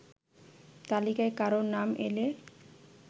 তালিকায় কারো নাম এলে